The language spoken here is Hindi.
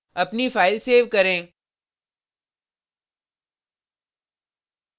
अपनी फाइल सेव करें